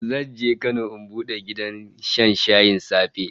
Zan je Kano in bude gidan shan shayin safe